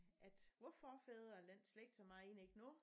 At vor forfædre eller den slægt som jeg er inde i nu